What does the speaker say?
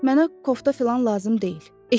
Mənə kofta filan lazım deyil.